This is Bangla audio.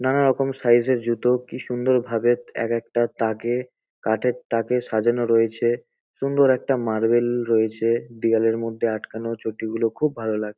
নানা রকম সাইজ -এর জুতো কি সুন্দর ভাবে একেকটা তাকে কাঠের তাকে সাজানো রয়েছে। সুন্দর একটা মার্বেল রয়েছে। দেওয়ালের মধ্যে আটকানো চটি গুলো খুব ভালো লাগ--